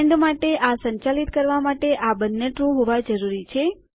and માટે આ સંચાલિત કરવા માટે આ બંને ટ્રૂ હોવા જરૂરી છે